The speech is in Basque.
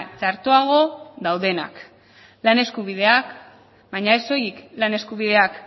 txartoago daudenak lan eskubideak baina ez soilik lan eskubideak